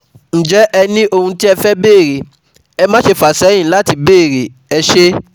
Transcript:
Ǹjẹ́ ẹ ní ohun tí ẹ fẹ́ bèèrè? ẹ máṣe fà sẹ́yìn láti béèrè, Ẹ ṣé